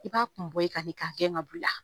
I b'a kun bɔ i kan de k'a gɛn ka bɔ i la